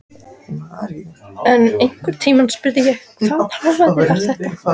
En einhvern tímann spurði ég: Hvaða hávaði var þetta?